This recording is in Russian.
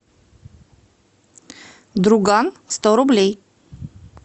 друган сто рублей